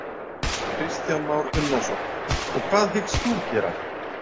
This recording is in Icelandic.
Kristján Már Unnarsson: Og hvað hyggst þú gera?